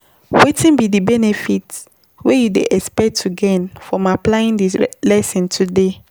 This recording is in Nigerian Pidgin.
Wetin be di benefit wey you dey expect to gain from applyimg di lesson today?